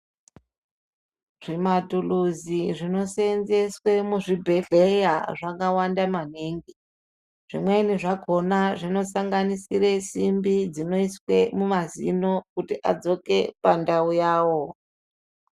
Zvimatulusi zvinosenzeswe muzvibhehlera zvakawanda magetsi zvimweni zvakona zvinosanganisire simbi dzinoiswe mumazino kuti adzoke pandawo yawo.